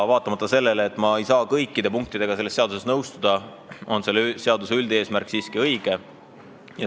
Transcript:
Vaatamata sellele, et ma ei saa kõikide punktidega selles seaduses nõustuda, arvan ma, et selle seaduse üldeesmärk on siiski õige.